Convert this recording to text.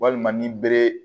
Walima ni bere